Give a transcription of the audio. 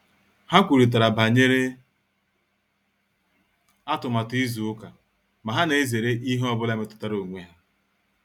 Ha kwurịtara banyere atụmatụ izu ụka ma ha na-ezere ihe ọ bụla metụtara onwe ha